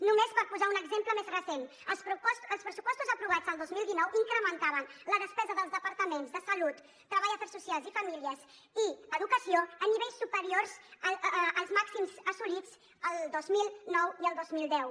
només per posar un exemple més recent els pressupostos aprovats el dos mil dinou incrementaven la despesa dels departaments de salut treball afers socials i famílies i educació a nivells superiors als màxims assolits el dos mil nou i el dos mil deu